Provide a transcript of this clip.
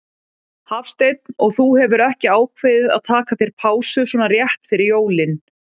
Hafsteinn: Og þú hefur ekki ákveðið að taka þér pásu svona rétt fyrir jólin?